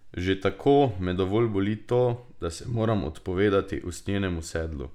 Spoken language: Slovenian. Že tako me dovolj boli to, da se moram odpovedati usnjenemu sedlu.